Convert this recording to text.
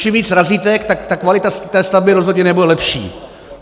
Čím víc razítek, tak kvalita té stavby rozhodně nebude lepší!